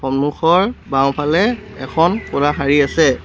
মুখৰ বাওঁফালে এখন ক'লা শাৰী আছে।